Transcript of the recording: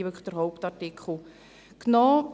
Wir haben hier wirklich den Hauptartikel genommen.